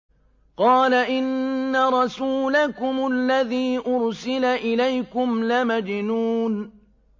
قَالَ إِنَّ رَسُولَكُمُ الَّذِي أُرْسِلَ إِلَيْكُمْ لَمَجْنُونٌ